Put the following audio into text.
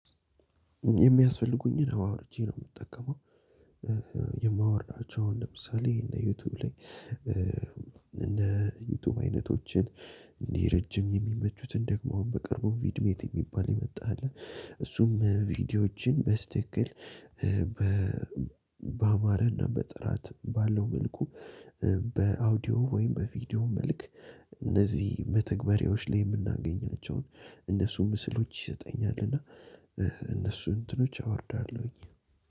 የሚያስፈልጉኝን አወርጄ ነው የምጠቀመው። የማወርዳቸው ለምሳሌ እነ ዩቲዩብ ላይ እነ ዩቲዩብ አይነቶችን እንዲህ ረጅም የሚመቹትን ደግሞ በቅርቡ ቪድሜት የሚባል የመጣ አለ። እሱም ቪዲዮዎችን በትክክል ባማረና በጥራት ባለው መልኩ በአውዲዮ ወይም በቪዲዮ መልክ እነዚህ መተግበሪያዎች ላይ የምናገኛቸውን እነሱም ምስሎች ይሰጠኛል። እና እነሱ እንትኖች አወርዳለሁኝ።